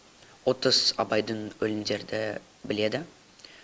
отыз абайдың өлеңдерді біледі